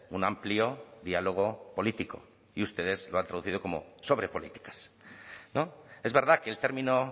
un amplio diálogo político y ustedes lo han traducido como sobre políticas es verdad que el término